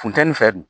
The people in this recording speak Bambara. Funteni fɛ